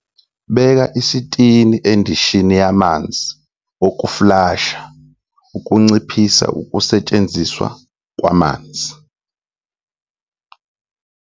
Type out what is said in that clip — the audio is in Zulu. Beka isitini endishini yamanzi okufulasha ukunciphisa ukusetshenziswa kwamanzi.